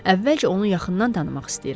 Əvvəlcə onu yaxından tanımaq istəyirəm.